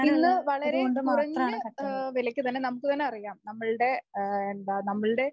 ഇന്ന് വളരെ കുറഞ്ഞ ആഹ് വിലയ്ക്ക് തന്നെ നമുക്ക് തന്നെ അറിയാം നമ്മളുടെ എന്താ നമ്മളുടെ